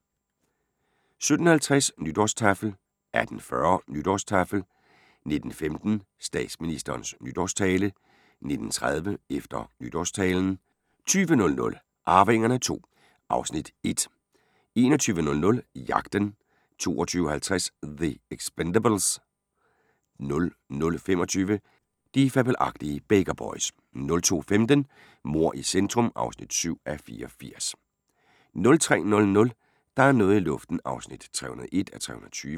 17:50: Nytårstaffel 18:40: Nytårstaffel 19:15: Statsministerens nytårstale 19:30: Efter nytårstalen 20:00: Arvingerne II (Afs. 1) 21:00: Jagten 22:50: The Expendables 00:25: De fabelagtige Baker Boys 02:15: Mord i centrum (7:84) 03:00: Der er noget i luften (301:320)